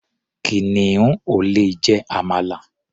Kìnìún ò lè jẹ àmàlà.